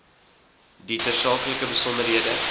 die tersaaklike besonderhede